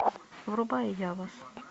врубай ява